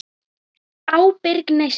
Ábyrg neysla.